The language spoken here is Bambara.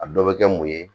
A dɔ bɛ kɛ mun ye